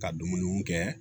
Ka dumuniw kɛ